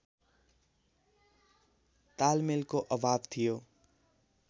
तालमेलको अभाव थियो